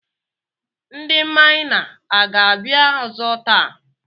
Ndị maịna aga-abịa ọzọ taa?